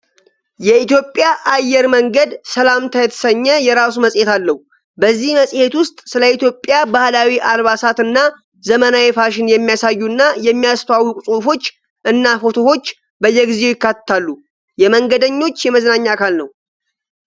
የኢትዮጵያ አየር መንገድ 'ሰላምታ' የተሰኘ የራሱ መጽሔት አለው። በዚህ መጽሔት ውስጥ ስለ ኢትዮጵያ ባህላዊ አልባሳት እና ዘመናዊ ፋሽን የሚያሳዩና የሚያስተዋውቁ ጽሑፎች እና ፎቶዎች በየጊዜው ይካተታሉ። የመንገደኞች የመዝናኛ አካል ነው።